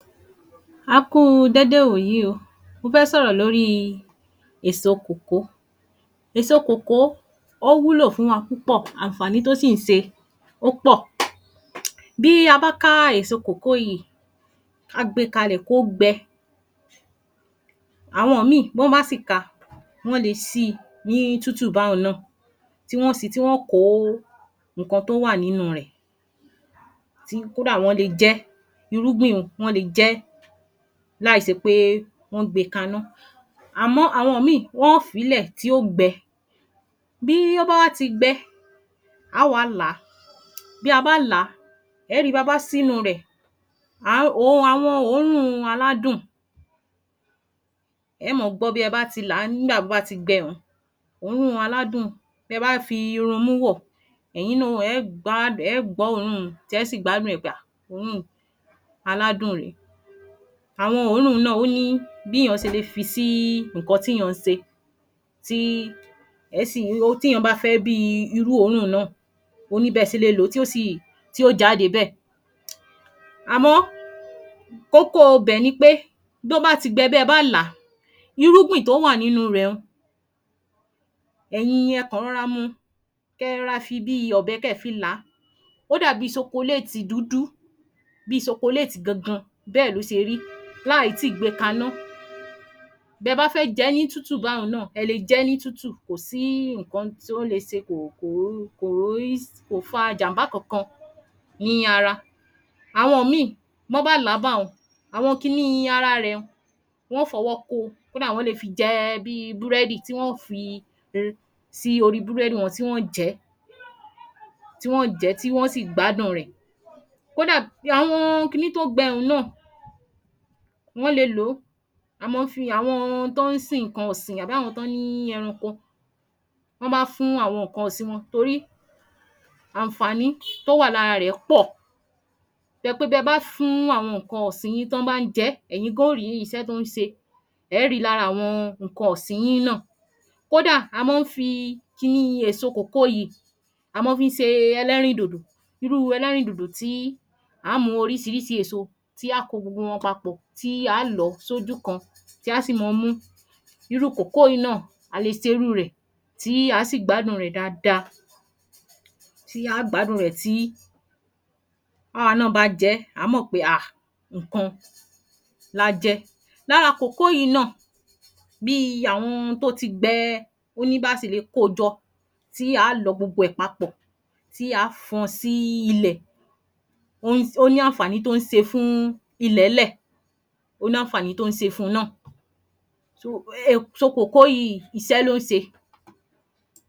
A kú u dédé ìwòyí o, mo fẹ́ sọ̀rọ̀ lórí èsò kòkó. Èsò kòkó ó wúlò fún wa púpọ̀, àǹfàní tó sì ń se ó pọ̀. Bí a bá ká èso kòkó yíì ká gbe kalẹ̀ kó gbẹ, àwọn míì b’ọ́n bá sì ka wọn le sí i ní tútù bá un náà tí wọ́n ó si tí wọ́n ó kó nǹkan tó wà nínú rẹ̀ tí kó dà wọ́n le jẹ́ irúgbìn un wọ́n le jẹ́ láì ṣe pé wọ́n gbe ka’ná àmọ́ àwọn míì wọ́n ó fi í lẹ̀ tí yó gbẹ, bí ó bá wá ti gbẹ áá wá là á, bí a bá làá ẹ́ ri ba bá ṣí’nú rẹ̀ um àwọn òórùn aládùn ẹẹ́ mọ gbọ́ bí ẹ bá ti là á nígbà tó bá ti gbẹ un òórùn aládùn bẹ bá fi run imú wò ẹ̀yin náà ẹẹ́ gbá ẹẹ́ gbọ́ òórùn tí ẹ́ sì gbádùn ẹ̀ pé um òórùn aládùn ni. Àwọn òórùn náà ó ní bí èèyàn ṣe le fi sí nǹkan tí èèyàn ń sè tí ẹ̀ẹ́ sì tí èèyàn bá fẹ́ bí i irú òórùn náà ó ní bẹ se le lòó tí ó sì tí ó jáde bẹ́ẹ̀. Àmọ́ kókó ibẹ̀ ni pé bí ó bá ti gbẹ bí ẹ bá là á irúgbìn tó wà nínú rẹ̀ un ẹ̀yin ẹ kàn rọra mu kẹ ra fi bí i ọ̀bẹ kẹ fi là á ó dàbí chocolate dúdú bí i chocolate gangan bẹ́ẹ̀ ló ṣe rí láì tíì gbe ka’ná. Bẹ bá fẹ́ jẹ́ ní tútù bá un náà, ẹ le jẹ́ ní tútù kò sí nǹkan tó le ṣe kò um kò fa ìjàm̀bá kankan ní ara. Àwọn míì, b’ọ́n bá là á bá un àwọn kiní ara rẹ̀ un wọn ó f’ọwọ́ ko kó dà wọ́n le fi jẹ bí i búrẹ́dì tí wọ́n ó fi sórí búrẹ́dì wọn tí wọ́n ó jẹ́ ẹ tí wọ́n ó jẹ́ tí wọ́n ó sì gbádùn rẹ̀. Kódà, àwọn kiní tó gbẹ́ un náà wọ́n le lòó a máa fi ń àwọn t’ọ́n sìn nǹkan ọ̀sìn àbí àwọn t’ọ́n ní ẹranko bí wọ́n bá fún àwọn nǹkan ọ̀sìn wọn torí àǹfàní tó wà lára rẹ̀ pọ̀ tó jẹ́ pé tẹ bá fún àwọn nǹkan ọ̀sìn yín tán tí wọ́n bá ń jẹ́ ẹ̀yin gan ó rí isẹ́ tó ń se, ẹ́ ri lára àwọn nǹkan ọ̀sìn yín náà. Kó dà, a máa ń fi àwọn èso kòkó yìí, a máa fi ń se ẹlẹ́rìndòdò irú ẹlẹ́rìndòdò tí àá mú orísirísi èso tí á kó gbogbo wọn papọ̀ tí aá lọ̀ọ́ sójú kan tí á sì mọ mú. Irú kòkó yìí náà, a le se irú rẹ̀ tí á sì gbádùn rẹ̀ dada tí á gbádùn rẹ̀ tí àwa náà bá jẹ́ á mọ̀ pé um nǹkan la jẹ. Lára kòkó yìí náà bí i àwọn tó ti gbẹ ó ní bá á ṣe le ko jọ tí á lọ gbogbo rẹ̀ papọ̀ tí á fọn sí ilẹ̀ ó ní àǹfàní tó ń ṣe fún ilẹ̀nlẹ̀ ó ní àǹfàní tó ń se fun náà kòkó yìí iṣẹ́ ló ń ṣe.